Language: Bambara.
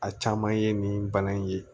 A caman ye nin bana in ye